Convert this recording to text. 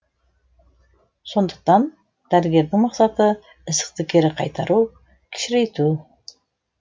сондықтан дәрігердің мақсаты ісікті кері қайтару кішірейту